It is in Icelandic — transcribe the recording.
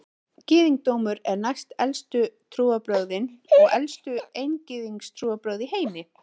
Gyðingdómur eru næstelstu trúarbrögðin og elstu eingyðistrúarbrögð í heimi.